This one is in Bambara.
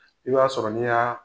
I b'a sɔrɔ' n'i yaa